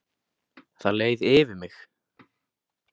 Það leið yfir mig.